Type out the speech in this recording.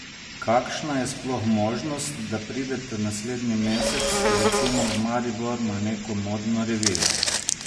Kakšna je sploh možnost, da pridete naslednji mesec, recimo, v Maribor na neko modno revijo?